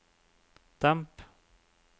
demp